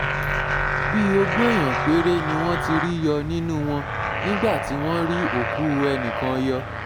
bíi ogún èèyàn péré ni wọ́n ti rí yọ nínú wọn nígbà tí wọ́n rí òkú ẹnì kan yọ